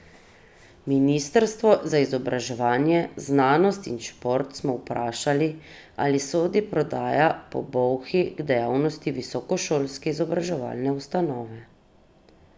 Ministrstvo za izobraževanje, znanost in šport smo vprašali, ali sodi prodaja po Bolhi k dejavnosti visokošolske izobraževalne ustanove.